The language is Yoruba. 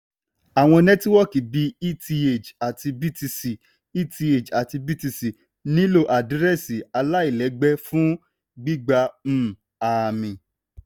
àwọn nẹ́tíwọ́kì bí eth àti btc eth àti btc nílò àdírẹ́sì aláìlẹ́gbẹ́ fún gbígba um ààmì.